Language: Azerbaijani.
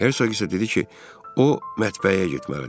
Hersoq isə dedi ki, o mətbəyə getməlidir.